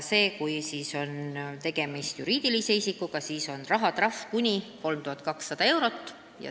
Kui on tegemist juriidilise isikuga, siis on rahatrahv kuni 3200 eurot.